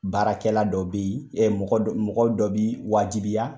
Baarakɛ la dɔ bɛ ye mɔgɔ mɔgɔ dɔ b'i wajibiya.